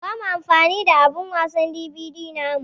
Ba mu amfani da abun wasan DVD namu.